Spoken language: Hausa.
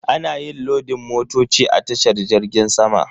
Ana yin lodin motoci a tashar jirgin sama.